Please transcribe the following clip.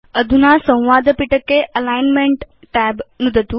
अधुना संवादपिटके alignment tab नुदतु